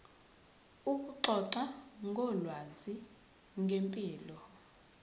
ukuxoxa ngolwazi ngempilo